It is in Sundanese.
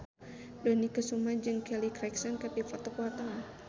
Dony Kesuma jeung Kelly Clarkson keur dipoto ku wartawan